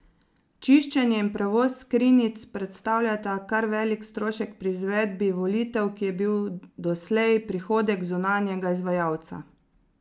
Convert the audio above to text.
Čiščenje in prevoz skrinjic predstavljata kar velik strošek pri izvedbi volitev, ki je bil doslej prihodek zunanjega izvajalca.